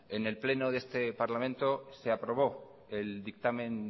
en el pleno de este parlamento se aprobó el dictamen